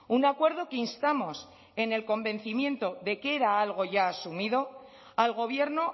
un acuerdo que instamos en el convencimiento de que era algo ya asumido al gobierno